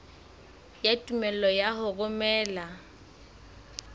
ya tumello ya ho romela